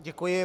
Děkuji.